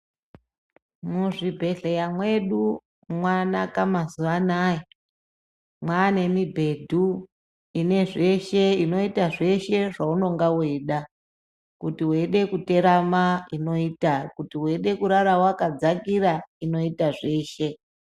Muzvibhehleya mwedu mwanaka mazuano aya mwane mubhedhu ine zveshe inoita zveshe zvaunonga weida kuti weida kuterama ,kuti weida kuata wakadzakira inoita zveshe.